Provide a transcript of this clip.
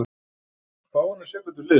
Fáeinar sekúndur liðu.